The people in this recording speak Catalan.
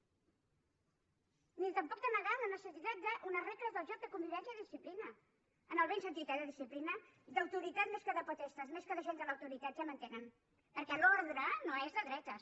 ni tampoc de negar la necessitat d’unes regles del joc de convivència i disciplina en el bon sentit eh de disciplina d’autoritat més que de potestas més que d’agent de l’autoritat ja m’entenen perquè l’ordre no és de dretes